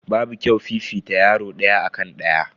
Babu kyau fifita yaro daya akan daya.